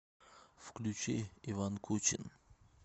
включи иван кучин